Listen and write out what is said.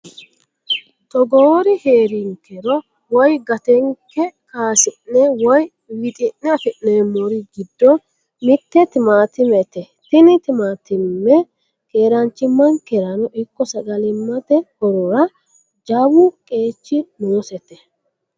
togoori heerinkerro woye gatenke kaasi'ne woy wixi'ne afi'neemori giddo mitte timaatimete tini timaatime keranchimankerano ikko sagalimate horora jawu qeechi noosete.